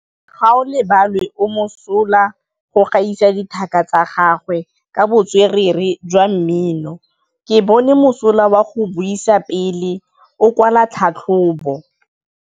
Gaolebalwe o mosola go gaisa dithaka tsa gagwe ka botswerere jwa mmino. Ke bone mosola wa go buisa pele o kwala tlhatlhobô.